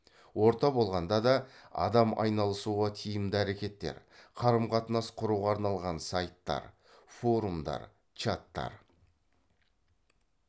орта болған да да адам айналысуға тиімді әрекеттер қарым қатынас құруға арналған сайттар форумдар чаттар